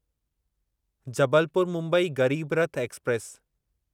Jabalpur Mumbai Garib Rath express